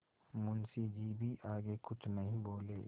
मुंशी जी भी आगे कुछ नहीं बोले